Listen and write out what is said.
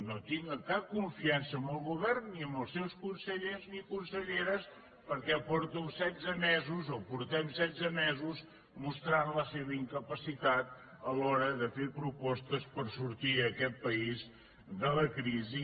no tinc cap confiança en el govern ni en els seus consellers ni conselleres perquè porto setze mesos o portem setze mesos mostrant la seva incapacitat a l’hora de fer propostes per fer sortir aquest país de la crisi